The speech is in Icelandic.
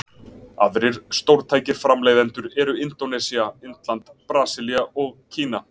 Aðrir stórtækir framleiðendur eru Indónesía, Indland, Brasilía og Kína.